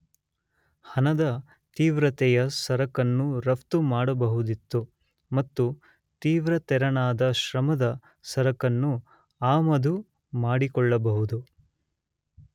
ಹಣದ, ತೀವ್ರತೆಯ ಸರಕನ್ನು ರಫ್ತು ಮಾಡಬಹುದಿತ್ತು ಮತ್ತು ತೀವ್ರತೆರನಾದ ಶ್ರಮದ ಸರಕನ್ನು ಆಮದು ಮಾಡಿಕೊಳ್ಳಬಹುದು.